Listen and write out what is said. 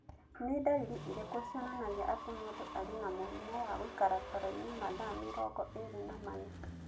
Nĩ ndariri irĩkũ cionanagia atĩ mũndũ arĩ na mũrimũ wa gũikara toro-inĩ mathaa mĩrongo ĩri na mana.